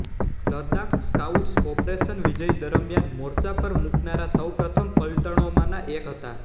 Ladakh scouts operation Vijay દરમિયાન મોરચા પર મુકાનારા સૌપ્રથમ પલટણોમાંના એક હતા